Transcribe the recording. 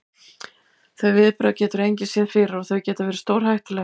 Þau viðbrögð getur engin séð fyrir og þau geta verið stórhættuleg.